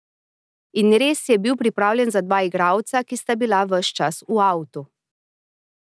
In res je bil pripravljen za dva igralca, ki bi bila ves čas v avtu.